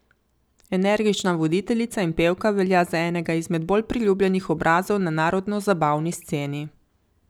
Energična voditeljica in pevka velja za enega izmed bolj priljubljenih obrazov na narodnozabavni sceni.